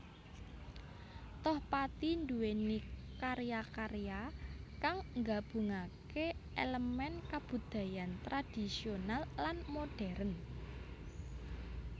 Tohpati nduwèni karya karya kang nggabungaké èlemèn kabudayan tradhisional lan modhèrn